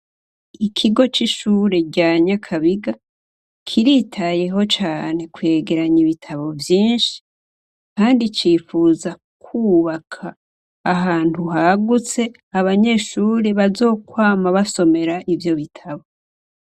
Ikigo c'ishuri rya nyakabiga kiritayeho cane kwegeranya ibitabo vyishi kandi cifuza kubaka ahantu hagutse abanyeshuri bazokwama basomera ivyo bitabo.